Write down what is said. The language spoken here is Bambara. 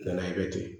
Nana i bɛ ten